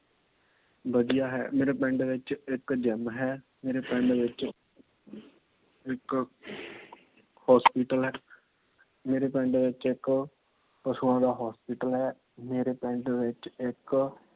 ਵਧੀਆ ਹੈ। ਮੇਰੇ ਪਿੰਡ ਵਿੱਚ ਇੱਕ gym ਹੈ। ਮੇਰੇ ਪਿੰਡ ਵਿੱਚ ਇੱਕ Hospital ਹੈ। ਮੇਰੇ ਪਿੰਡ ਵਿੱਚ ਇੱਕ ਪਸ਼ੂਆਂ ਦਾ Hospital ਹੈ। ਮੇਰੇ ਪਿੰਡ ਵਿੱਚ ਇੱਕ